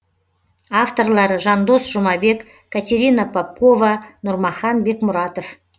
авторлары жандос жұмабек катерина попкова нұрмахан бекмұратов